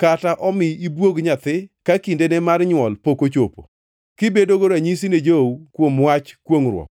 kata omi ibwog nyathi ka kindene mar nywol pok ochopo, kibedogo ranyisi ne jou kuom wach kwongʼruok.